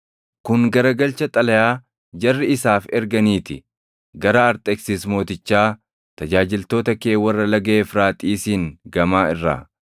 Kun garagalcha xalayaa jarri isaaf erganii ti. Gara Arxeksis Mootichaa, tajaajiltoota kee warra Laga Efraaxiisiin Gamaa irraa: